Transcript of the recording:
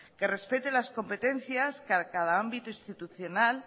que respete las competencias que a cada ámbito institucional